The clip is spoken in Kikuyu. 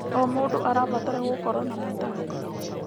O mũndũ arabatara gũkorwo na matanya.